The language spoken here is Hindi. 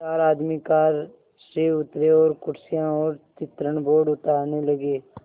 चार आदमी कार से उतरे और कुर्सियाँ और चित्रण बोर्ड उतारने लगे